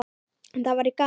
En það væri gaman.